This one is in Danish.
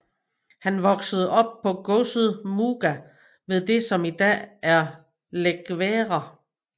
Han voksede op på godset Muuga ved det som i dag er Laekvere